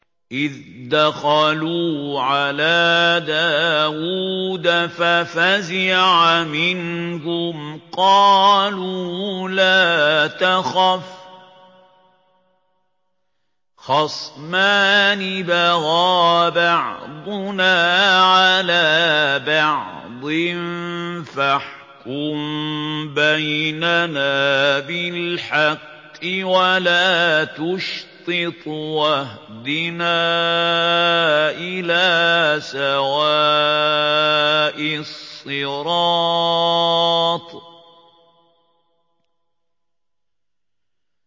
إِذْ دَخَلُوا عَلَىٰ دَاوُودَ فَفَزِعَ مِنْهُمْ ۖ قَالُوا لَا تَخَفْ ۖ خَصْمَانِ بَغَىٰ بَعْضُنَا عَلَىٰ بَعْضٍ فَاحْكُم بَيْنَنَا بِالْحَقِّ وَلَا تُشْطِطْ وَاهْدِنَا إِلَىٰ سَوَاءِ الصِّرَاطِ